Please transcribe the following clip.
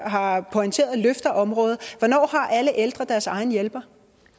har pointeret løfter området hvornår har alle ældre deres egen hjælper